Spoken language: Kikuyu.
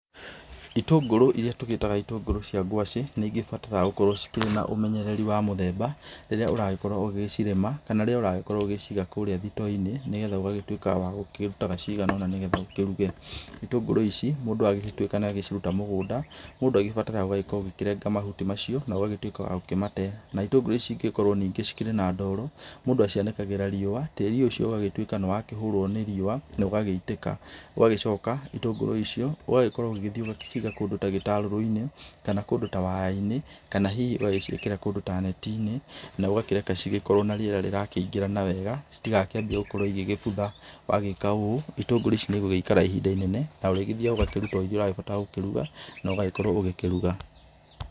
Itũngũrũ iria tũgĩtaga itũngũrũ cia ngwacĩ nĩibataraga cikĩrĩ na ũmenyereri wa mũthemba rĩrĩa ũragĩkorwo ũgĩcirĩma kana rĩrĩa ũragĩkorwo ũgĩciga kũrĩa thitooinĩ nĩgetha ũgagĩtuĩka wakĩrutaga cigana ũna nĩgetha ũkĩruge, itũngũrũ ici mũndũ angĩgĩtuĩka nĩaciruta mũgũnda mũndũ akĩbataraga akorwe akĩrenga mahuti macio na ũkagĩtuĩka wakĩmate, na itũngũrũ ici ingĩkorwo ningĩ cikĩrĩ na ndoro, mũndũ acianĩkagĩra riúũ, tĩri ũcio ũgagĩtuĩka nĩwakĩhũrũoa nĩ riũa na ũgagĩitĩka, ũgagĩcoka itũngũrũ icio ũgagĩkorwo ũgathiĩ ũgaciga kũndũ ta gĩtararũinĩ kana kũndũ ta wayainĩ kana hihi ũgacĩikĩra kũndũ ta netinĩ na ũgacireka gũkorwo na rĩera rĩrakĩingĩra na wega citigakĩambie gũkorwo ikĩbutha, wagĩka ũguo itũngũrũ ici nĩgũgĩkara ihinda inene na ũrĩthiaga ũkaruta iria ũrahota kũruga na ũgagĩkorwo ũkĩruga.